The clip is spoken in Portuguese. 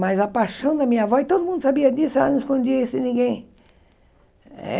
Mas a paixão da minha avó, e todo mundo sabia disso, ela não escondia isso em ninguém.